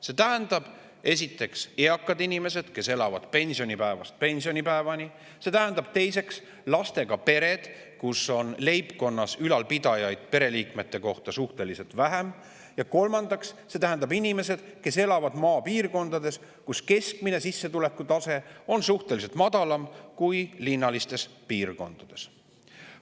See tähendab, esiteks, eakad inimesed, kes elavad pensionipäevast pensionipäevani; teiseks, lastega pered, kus ülalpidajaid leibkonna liikmete kohta on suhteliselt vähem; kolmandaks, inimesed, kes elavad maapiirkondades, kus sissetuleku keskmine tase on suhteliselt madalam kui linnalistes piirkondades.